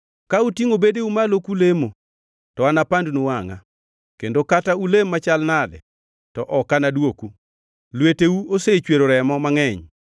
Ka utingʼo bedeu malo kulemo to anapandnu wangʼa, kendo kata ulem machal nade to ok anadwoku. Lweteu osechwero remo mangʼeny!